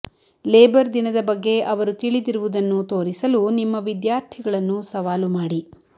labour ದಿನದ ಬಗ್ಗೆ ಅವರು ತಿಳಿದಿರುವದನ್ನು ತೋರಿಸಲು ನಿಮ್ಮ ವಿದ್ಯಾರ್ಥಿಗಳನ್ನು ಸವಾಲು ಮಾಡಿ